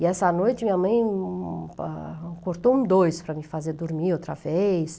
E essa noite minha mãe cortou um dois para me fazer dormir outra vez.